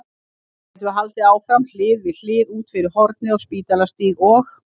Þá getum við haldið áfram hlið við hlið út yfir hornið á Spítalastíg og